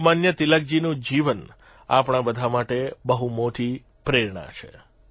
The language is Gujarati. લોકમાન્ય તિલકજીનું જીવન આપણા બધા માટે બહુ મોટી પ્રેરણા છે